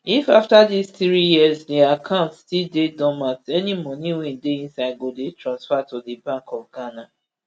if afta dis three years di accounts still dey dormant any moni wey dey inside go dey transferred to di bank of ghana